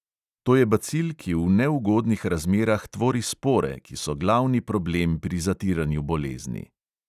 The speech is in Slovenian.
To je bacil, ki v neugodnih razmerah tvori spore, ki so glavni problem pri zatiranju bolezni.